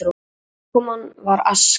Útkoman var aska.